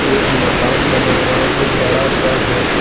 एक मकान बना हुआ है जो बड़ा सा है।